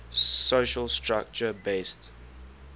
social structure based